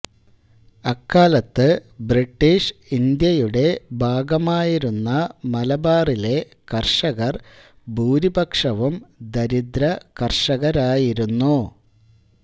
അക്കാലത്ത് ബ്രിട്ടീഷ് ഇന്ത്യയുടെ ഭാഗമായിരുന്ന മലബാറിലെ കർഷകർ ഭൂരിപക്ഷവും ദരിദ്ര കർഷകരായിരുന്നു